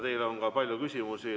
Teile on ka palju küsimusi.